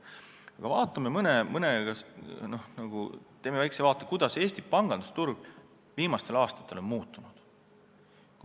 Aga teeme väikse vaate, kuidas Eesti pangandusturg viimastel aastatel on muutunud.